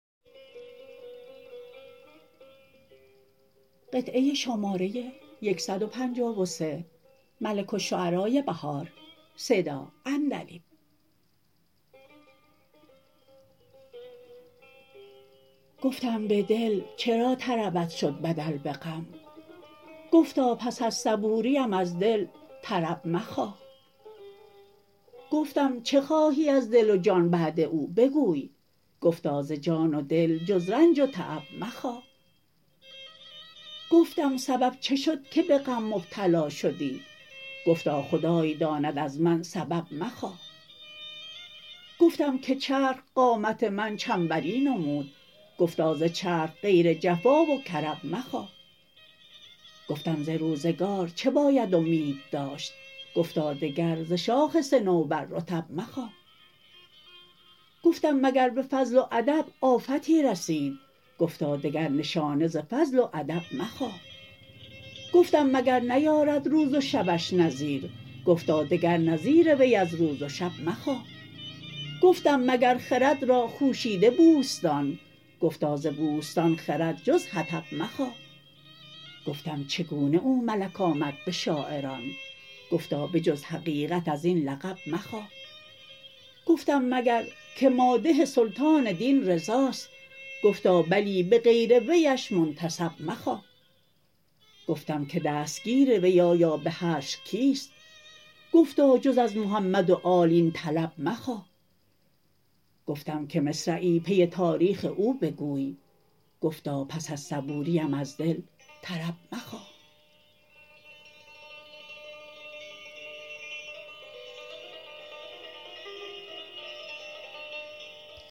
گفتم به دل چرا طربت شد بدل به غم گفتا پس از صبوریم از دل طرب مخواه گفتم چه خواهی از دل و جان بعد او بگوی گفتا ز جان و دل جز رنج و تعب مخواه گفتم سبب چه شد که به غم مبتلا شدی گفتا خدای داند از من سبب مخواه گفتم که چرخ قامت من چنبری نمود گفتا ز چرخ غیر جفا و کرب مخواه گفتم ز روزگار چه باید امید داشت گفتا دگر ز شاخ صنوبر رطب مخواه گفتم مگر به فضل و ادب آفتی رسید گفتا دگر نشانه ز فضل و ادب مخواه گفتم مگر نیارد روز و شبش نظیر گفتا دگر نظیر وی از روز و شب مخواه گفتم مگر خرد را خوشیده بوستان گفتا ز بوستان خرد جز حطب مخواه گفتم چگونه او ملک آمد به شاعران گفتا به جز حقیقت از این لقب مخواه گفتم مگر که مادح سلطان دین رضاست گفتا بلی بغیر ویش منتسب مخواه گفتم که دستگیر وی آیا به حشر کیست گفتا جز از محمد و آل این طلب مخواه گفتم که مصرعی پی تاریخ او بگوی گفتا پس از صبوریم از دل طرب مخواه